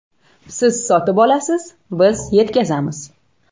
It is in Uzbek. Siz sotib olasiz, biz yetkazamiz!